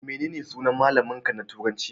Menene sunan malamin ka na turanci?